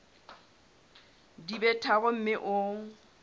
di be tharo mme o